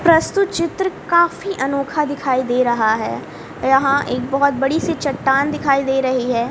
प्रस्तुत चित्र काफी अनोखा दिखाई दे रहा है यहां एक बहुत बड़ी सी चट्टान दिखाई दे रही है।